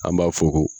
An b'a fɔ ko